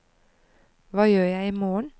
hva gjør jeg imorgen